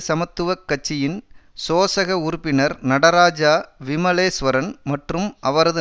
சமத்துவ கட்சியின் சோசக உறுப்பினர் நடராஜா விமலேஸ்வரன் மற்றும் அவரது